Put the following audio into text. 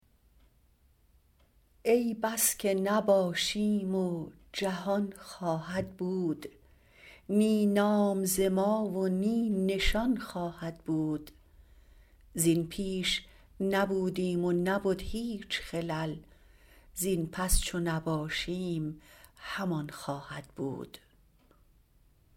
ای بس که نباشیم و جهان خواهد بود نی نام ز ما و نی نشان خواهد بود زین پیش نبودیم و نبد هیچ خلل زین پس چو نباشیم همان خواهد بود